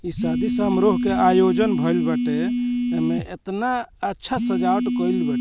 इ शादी सामरोह के आयोजन भइल बाटे ऐमें ऐतना अच्छा सजावट कइल बा --